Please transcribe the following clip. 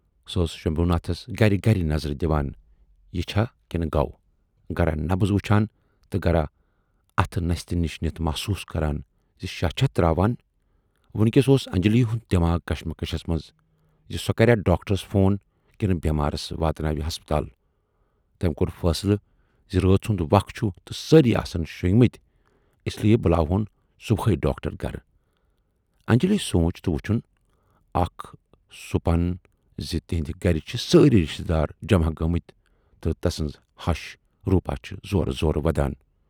سۅ ٲسۍ شمبھوٗ ناتھس گرِ گرِ نظر دِوان، یہِ چھا کِنہٕ گَو۔ گرا نبض وُچھان تہٕ گرا اَتھٕ نستہِ نِش نِتھ محسوٗس کران زِ شاہ چھا تراوان۔ وُنۍکٮ۪س اوس انجلی ہُند دٮ۪ماغ کشمکش منز زِ سۅ کریا ڈاکٹرس فون کِنہٕ بٮ۪مارس واتہٕ ناوِ ہسپتال۔ تمٔۍ کور فٲصلہٕ زِ رٲژ ہُند وَق چھُ تہٕ سٲری آسن شونگمٕتۍ، اِسلئے بُلاوہون صُبحے ڈاکٹر گرٕ۔ انجلی شۅنج تہٕ وُچھُن اکھ سوپُن زِ تِہٕندِ گرِ چھِ سٲری رِشتہٕ دار جماہ گٲمٕتۍ تہٕ تسٕنز ہَش روٗپا چھِ زورٕ زورٕ ودان۔